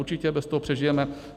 Určitě bez toho přežijeme.